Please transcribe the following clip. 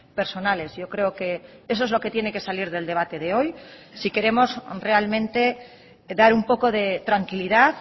personales yo creo que eso es lo que tiene que salir del debate de hoy si queremos realmente dar un poco de tranquilidad